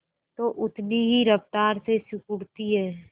तो उतनी ही रफ्तार से सिकुड़ती है